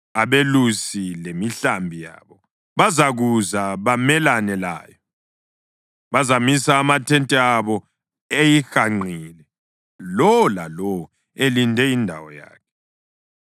Abelusi lemihlambi yabo bazakuza bamelane layo; bazamisa amathente abo eyihanqile, lowo lalowo elinde indawo yakhe.”